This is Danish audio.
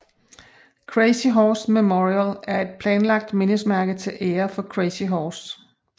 Crazy Horse Memorial er et planlagt mindesmærke til ære for Crazy Horse